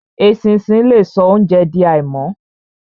Eṣinṣin le so óunjẹ di àìmọ́.